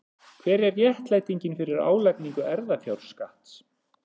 Hver er réttlætingin fyrir álagningu erfðafjárskatts?